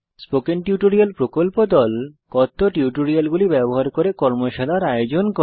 spoken tutorial প্রকল্প দল কথ্য টিউটোরিয়াল গুলি ব্যবহার করে কর্মশালার আয়োজন করে